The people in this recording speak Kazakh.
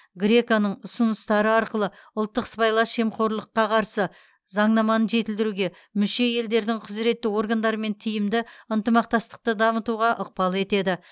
греко ның ұсыныстары арқылы ұлттық сыбайлас жемқорлыққа қарсы заңнаманы жетілдіруге мүше елдердің құзыретті органдарымен тиімді ынтымақтастықты дамытуға ықпал етеді